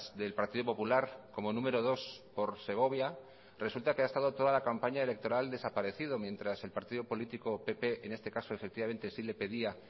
del partido popular como número dos por segovia resulta que ha estado toda la campaña electoral desaparecido mientras el partido político pp en este caso efectivamente sí le pedía